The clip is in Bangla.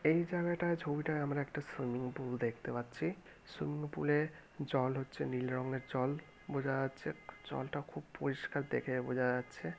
এই জায়গাটায় ছবিটা আমরা একটা সুইমিং পুল দেখতে পাচ্ছি সুইমিং পুলে জল হচ্ছে নীল রংয়ের জল বোঝা যাচ্ছে জলটা খুব পরিষ্কার দেখে বোঝা যাচ্ছে।